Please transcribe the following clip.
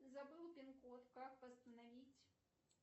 забыла пин код как восстановить